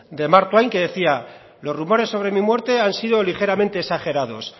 de mark twain que decía los rumores sobre mi muerte han sido ligeramente exagerados